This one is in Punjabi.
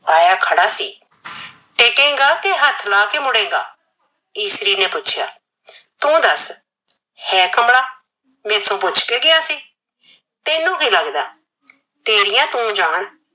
ਆਇਆ ਖੜਾ ਸੀ। ਟਿਕੇਗਾ ਕੇ ਹੱਥ ਲਾ ਕੇ ਮੁੜੇਗਾ, ਈਸਰੀ ਨੇ ਪੁੱਛਿਆ। ਤੂੰ ਦਸ ਹੈ ਕਮਰਾ। ਮੇਰੇ ਤੋਂ ਪੁੱਛ ਕੇ ਗਿਆ ਸੀ। ਤੈਨੂੰ ਕੀ ਲੱਗਦਾ, ਤੇਰੀਆਂ ਤੂੰ ਜਾਣ।